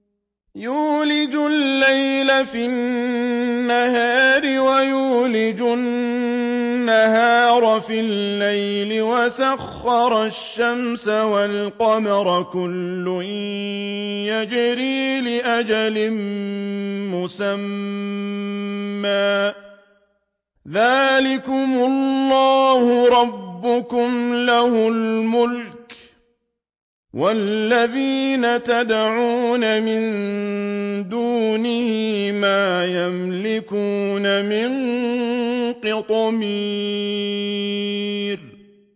يُولِجُ اللَّيْلَ فِي النَّهَارِ وَيُولِجُ النَّهَارَ فِي اللَّيْلِ وَسَخَّرَ الشَّمْسَ وَالْقَمَرَ كُلٌّ يَجْرِي لِأَجَلٍ مُّسَمًّى ۚ ذَٰلِكُمُ اللَّهُ رَبُّكُمْ لَهُ الْمُلْكُ ۚ وَالَّذِينَ تَدْعُونَ مِن دُونِهِ مَا يَمْلِكُونَ مِن قِطْمِيرٍ